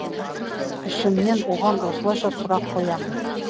ішімнен оған осылайша сұрақ қоямын